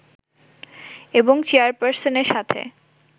এবং চেয়ারপার্সনের সাথে